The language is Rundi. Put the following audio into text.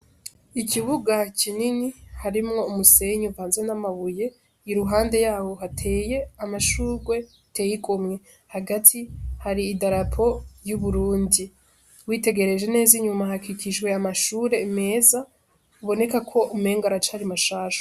Ikibuga kinini harimwo umusenyi uvanze n'amabuye i ruhande yawo hateye amashurwe ateye igomwe hagati har'idarapo y'uburundi witegereje neza inyuma hakikijwe amashure meza aboneka ko umenga aracari mashasha.